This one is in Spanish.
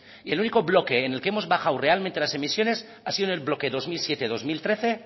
y el único bloque en el que hemos bajado realmente las emisiones ha sido en el bloque dos mil siete dos mil trece